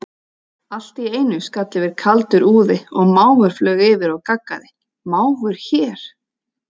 Allt í einu skall yfir kaldur úði og máfur flaug yfir og gaggaði, máfur hér?